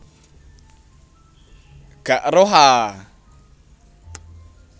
Gak eruh a